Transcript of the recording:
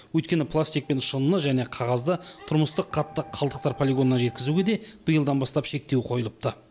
өйткені пластик пен шыныны және қағазды тұрмыстық қатты қалдықтар полигонына жеткізуге де биылдан бастап шектеу қойылыпты